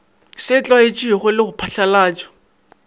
se tlwaetšwego le go phatlalatšwa